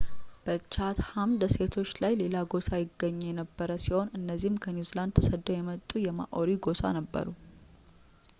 በchatham ደሴቶች ላይ ሌላ ጎሳ ይገኝ የነበር ሲሆን እነዚህም ከኒውዚላንድ ተሰደው የመጡ የmaori ጎሳ ነበሩ